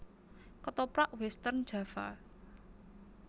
Ketoprak Western Java